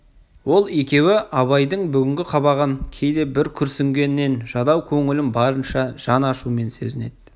ол екеуі абайдың бүгінгі қабағын кейде бір күрсінген жадау көңілін барынша жан ашумен сезінеді